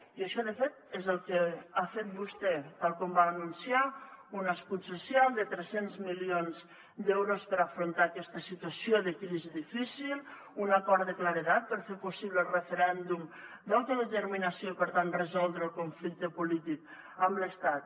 i això de fet és el que ha fet vostè tal com va anunciar un escut social de tres cents milions d’euros per afrontar aquesta situació de crisi difícil un acord de claredat per fer possible el referèndum d’autodeterminació i per tant resoldre el conflicte polític amb l’estat